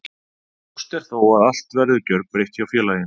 Ljóst er þó að allt verður gjörbreytt hjá félaginu.